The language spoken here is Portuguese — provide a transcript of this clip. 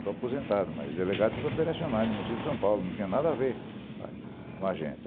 Estou aposentado, mas Delegado Operacionais Municipal de São Paulo, não tinha nada a ver com a gente.